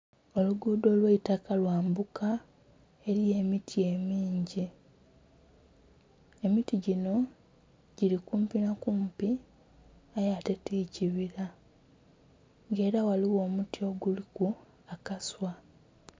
Oluguudho olw'eitaka lwambuka. Eliyo emiti emingi emiti ginho gili kumpi nha kumpi aye ate ti kibila nga ela ghaligho omuti oguliku akaswa.